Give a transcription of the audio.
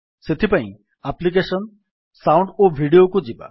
ସେଥିପାଇଁ ଆପ୍ଲିକେଶନ୍ gtସାଉଣ୍ଡ ଓ ଭିଡିଓ କୁ ଯିବା